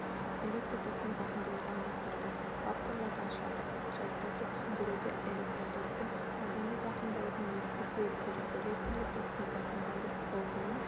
электр токпен зақымдалуды анықтайтын факторлар ашады шарттарды түсіндіреді элктротокпен адамды зақымдаудың негізгі себептері электрлік токпен зақымдалу қаупінің